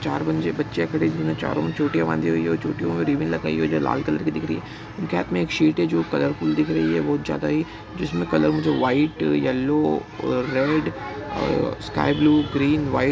चार बनजे बच्चियां खड़ी हुई है। चारों ने चोटिया बंधी हुई है। और चोटियों मे रिबन लगाई हुई है। जो लाल कलर की दिख रही है। उनके हाथ मे एक शीट है जो कलरफुल दिख रही है। बहुत ज्यादा ही जिसमे कलर वो जो white yellow uh- red ah- sky blue green white --